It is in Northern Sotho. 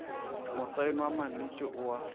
mosaeno wa mannete o a